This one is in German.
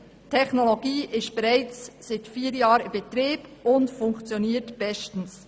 Die Technologie ist bereits seit vier Jahren in Betrieb und funktioniert bestens.